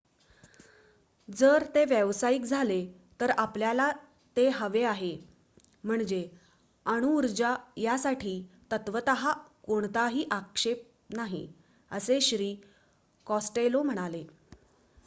"" जर ते व्यावसायिक झाले तर आपल्याला ते हवे आहे. म्हणजे अणुऊर्जा यासाठी तत्वत: कोणताही आक्षेप नाही" असे श्री. कॉस्टेलो म्हणाले.